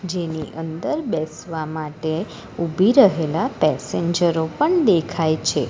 જેની અંદર બેસવા માટે ઊભી રહેલા પેસેન્જરો પણ દેખાય છે.